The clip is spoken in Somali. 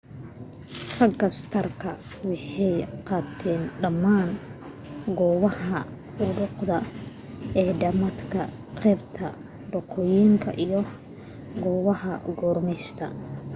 raga stark waxay qateen dhamaan goobaha xudduuda ee dhamaadka qeybta waqooyiga ee goobaha gumeystayasha